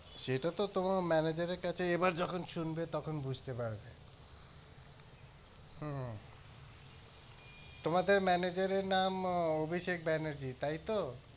সেটা তো তোমার manager কাছে এবার যখন শুনবে তখন বুজতে পারবে হম তোমাদের manager এর নাম অভিষেক ব্যানার্জি তাইতো?